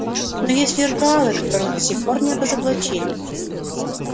но есть виртуалы которых до сих пор не разоблачили